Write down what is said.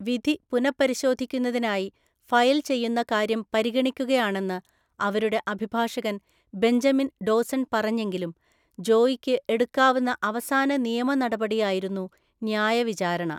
വിധി പുനഃപരിശോധിക്കുന്നതിനായി ഫയൽ ചെയ്യുന്ന കാര്യം പരിഗണിക്കുകയാണെന്ന് അവരുടെ അഭിഭാഷകൻ ബെഞ്ചമിൻ ഡോസൺ പറഞ്ഞെങ്കിലും ജോയിക്ക് എടുക്കാവുന്ന അവസാന നിയമ നടപടിയായിരുന്നു ന്യായ വിചാരണ.